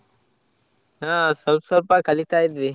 ಹಾ ಸ್ವಲ್ಪ ಸ್ವಲ್ಪ ಕಲಿತ ಇದ್ವಿ.